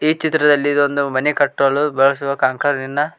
ಈ ಚಿತ್ರದಲ್ಲಿ ಇದು ಒಂದು ಮನೆ ಕಟ್ಟಲು ಬಳಸುವ ಕಾಂಕರಿನ ನ.